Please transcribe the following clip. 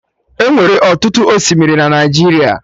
Enwere ọtụtụ osimiri na Naijiria